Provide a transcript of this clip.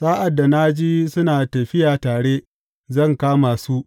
Sa’ad da na ji suna tafiya tare, zan kama su.